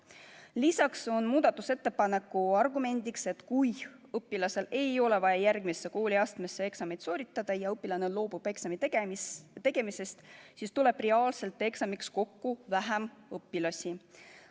Lisaks on muudatusettepaneku argument, et kui õpilasel ei ole vaja järgmisse kooliastmesse pääsemiseks eksamit sooritada ja õpilane loobub eksami tegemisest, siis tuleb reaalselt eksamiks kokku vähem õpilasi.